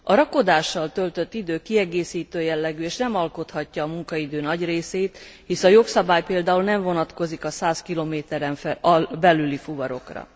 A rakodással töltött idő kiegészítő jellegű és nem alkothatja a munkaidő nagy részét, hisz a jogszabály például nem vonatkozik a 100 km en belüli fuvarokra.